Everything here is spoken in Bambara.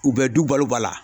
U bɛɛ du balo ba la.